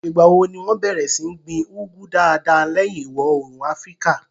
Ìgbà wo ni wọn bẹ̀rẹ̀ sí ní gbin úgú dáadáa lẹ́yìn ìwọòrùn áfríkà?